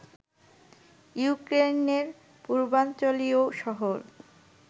ইউক্রেইনের পূর্বাঞ্চলীয় শহর